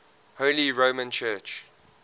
holy roman church